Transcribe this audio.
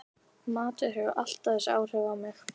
Matur hefur alltaf þessi áhrif á mig